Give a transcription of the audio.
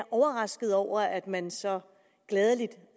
overraskede over at man så gladeligt